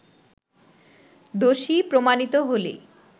দোষী প্রমাণিত হলে